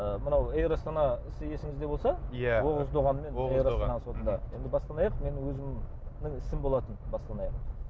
ы мынау эйр астана сіз есіңізде болса иә оғыз доғанмен енді бастан аяқ менің өзімнің ісім болатын бастан аяқ